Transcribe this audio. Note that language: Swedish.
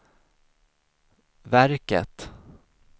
verket